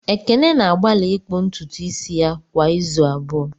Ekene na-agbalị ịkpụ ntutu isi ya kwa izu abụọ